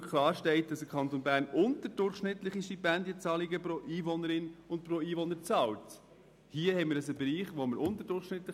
Dort steht, dass der Kanton Bern unterdurchschnittliche Stipendienzahlungen pro Einwohnerin und Einwohner ausrichtet.